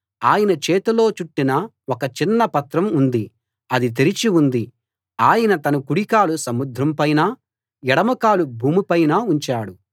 ఆయన చేతిలో చుట్టిన ఒక చిన్న పత్రం ఉంది అది తెరచి ఉంది ఆయన తన కుడి కాలు సముద్రంపైనా ఎడమకాలు భూమిపైనా ఉంచాడు